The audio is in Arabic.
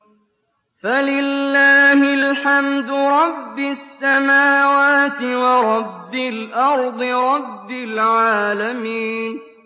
فَلِلَّهِ الْحَمْدُ رَبِّ السَّمَاوَاتِ وَرَبِّ الْأَرْضِ رَبِّ الْعَالَمِينَ